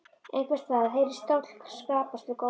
Einhvers staðar heyrðist stóll skrapast við gólf.